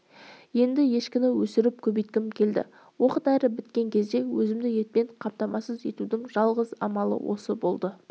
енді ешкіні өсіріп көбейткім келді оқ-дәрі біткен кезде өзімді етпен қамтамасыз етудің жалғыз амалы осы болды